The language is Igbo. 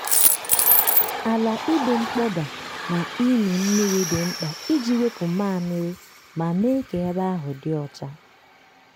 ala ịdị mkpọda na ịmị mmiri dị mkpa iji wepụ mmamịrị ma mee ka ebe ahụ dị ọcha.